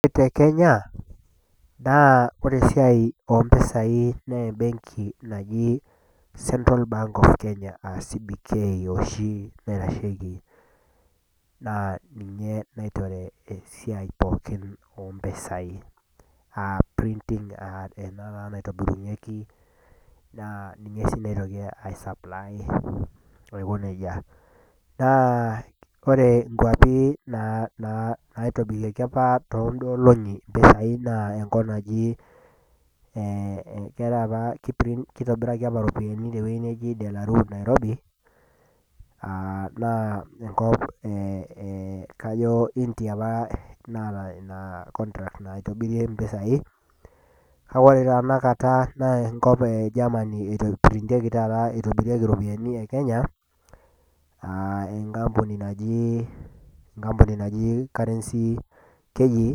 Ore tekenya na ore esiai ompisai na embenki naji central bank of kenya oshi naitashekibna ninye naitore esiai ompisai pookin a printing ena na naitobirunyeki ninye si naitoki ai supply naitobirieki apa tonkolongi mpisai na enkop naji e keetae apa kitobiraki apa ropiyani te nairobi aa naa enkop e kajo india apa naata ina contract naitobirie mpisai kakeore ore tanakata na enkop e Germany itobirieki ropiyani e kenya enkampuni naji currency keji